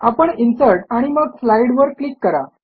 आपण इन्सर्ट आणि मग स्लाईड वर क्लिक करा